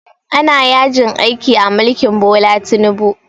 Ana yajin aiki a mulkin Bola Tinubu